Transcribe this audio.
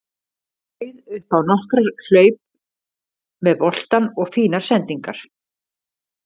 Bauð upp á nokkrar hlaup með boltann og fínar sendingar.